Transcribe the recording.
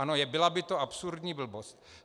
Ano, byla by to absurdní blbost.